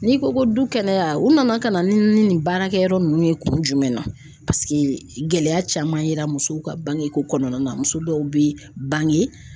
N'i ko ko du kɛnɛya u nana ka na ni nin baarakɛyɔrɔ ninnu ye kun jumɛn na gɛlɛya caman y'a yira musow ka bangeko kɔnɔna na muso dɔw bɛ bange.